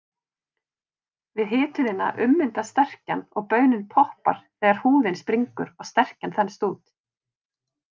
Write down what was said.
Við hitunina ummyndast sterkjan og baunin poppar þegar húðin springur og sterkjan þenst út.